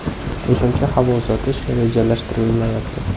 Qo‘shimcha havo uzatish rejalashtirilmayapti.